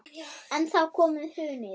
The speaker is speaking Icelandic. En þá kom hrunið.